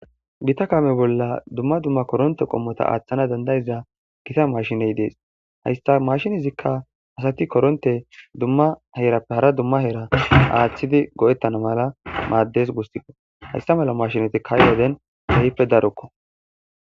gita kame bolla dumma dumma koronte qommota aaththana dandayiza gita mashiney dees hayssa mashinezikka asati koronte dumma herappe hara dumma heera aaththidi go'ettana mala maaddes gussiko hayssa mala mashinatikka ha'i woden kehipe darokko